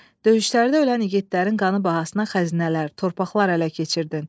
Döyüşlərdə ölən igidlərin qanı bahasına xəzinələr, torpaqlar ələ keçirdin.